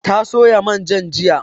Ta soya manjan jiya